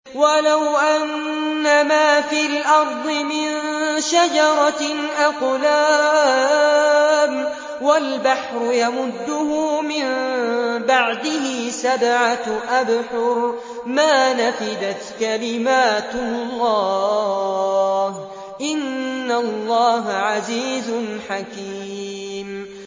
وَلَوْ أَنَّمَا فِي الْأَرْضِ مِن شَجَرَةٍ أَقْلَامٌ وَالْبَحْرُ يَمُدُّهُ مِن بَعْدِهِ سَبْعَةُ أَبْحُرٍ مَّا نَفِدَتْ كَلِمَاتُ اللَّهِ ۗ إِنَّ اللَّهَ عَزِيزٌ حَكِيمٌ